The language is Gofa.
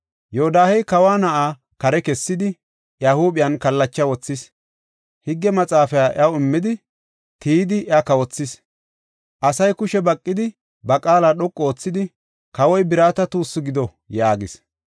Yoodahey kawa na7aa kare kessidi, iya huuphen kallacha wothis. Higge Maxaafaa iyaw immidi, tiyidi, iya kawothis. Asay kushe baqidi, ba qaala dhoqu oothidi, “Kawoy birata tuussu gido!” yaagis.